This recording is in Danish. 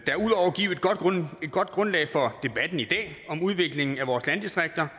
et godt grundlag for debatten i dag om udviklingen af vores landdistrikter